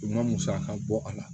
U ma musaka bɔ a la